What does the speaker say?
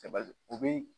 o bɛ